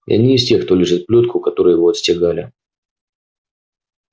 я не из тех кто лижет плётку которой его отстегали